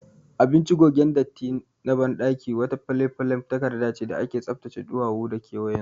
Abinci gogen datti na baɗaki wata falefalen takardace da ake tsaftace ɗuwawu da kewayensu